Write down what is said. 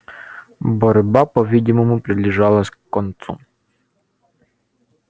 борьба по видимому приближалась к концу